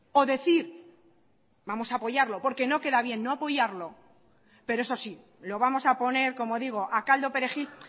o decir vamos a apoyarlo porque no queda bien no apoyarlo pero eso sí lo vamos a poner como digo a caldo perejil